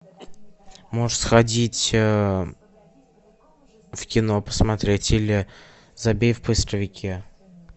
можешь сходить в кино посмотреть или забей в поисковике